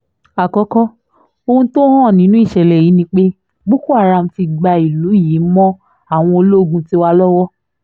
àkókò ohun tó hàn nínú ìṣẹ̀lẹ̀ yìí ni pé boko haram ti gba ìlú yìí mọ́ àwọn ológun tiwa lọ́wọ́